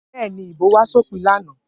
Bẹ́ẹ̀ ni, ìbò wá sópin lánàá.